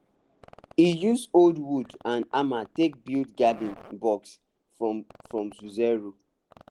he use old wood and hammer take build garden box from from zero